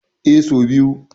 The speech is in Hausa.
Eh, so biyu.